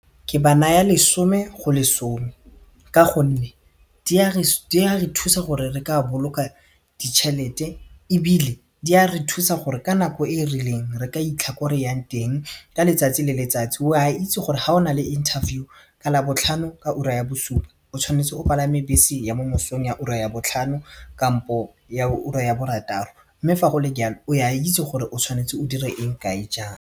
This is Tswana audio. Ke ba naya lesome go lesome ka gonne di a re thusa gore re ka boloka ditšhelete ebile di a re thusa gore ka nako e e rileng re ka itlha ko re yang teng ka letsatsi le le tsatsi o a itse gore ga o na le interview ka labotlhano ka ura ya bosupa o tshwanetse o palame bese ya mo mosong ka ura ya botlhano kampo ya ura ya borataro mme fa go le jalo o a itse gore o tshwanetse o dire eng kae jang.